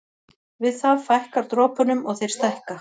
Við það fækkar dropunum og þeir stækka.